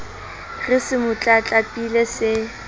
re se mo tlatlapile se